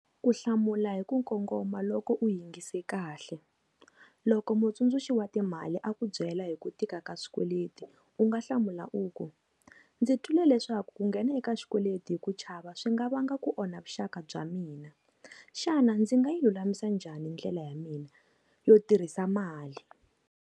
Ku hlamula hi ku kongoma loko u yingise kahle. loko mutsundzuxi wa timali a ku byela hi ku tika ka swikweleti u nga hlamula u ku, ndzi twile leswaku ku nghena eka xikweleti hi ku chava swi nga va nga ku onha vuxaka bya mina xana ndzi nga yi lulamisa njhani ndlela ya mina yo tirhisa mali.